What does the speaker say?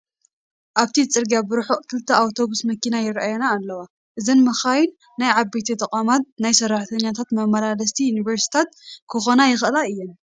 ኣብቲ ፅርግያ ብርሑቕ ክልተ ኣውቶብስ መኪና ይራኣያ ኣለዋ፡፡ እዘን መካይን ናይ ዓበይቲ ተቋማት ናይ ሰራሕተኛታት መመላለስቲ ሰርቪሳት ክኾና ይኽእላ እየን፡፡